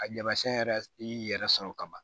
A tamasiyɛn yɛrɛ i y'i yɛrɛ sɔrɔ kaban